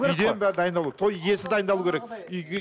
үйден бәрі дайындалу керек той иесі дайындалу керек үйге